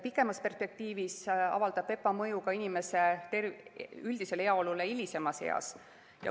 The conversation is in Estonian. Pikemas perspektiivis avaldab VEPA mõju ka inimese üldisele heaolule hilisemas eas.